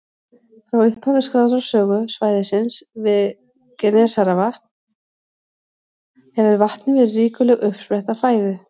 Frá upphafi skráðrar sögu svæðisins við Genesaretvatn hefur vatnið verið ríkuleg uppspretta fæðu.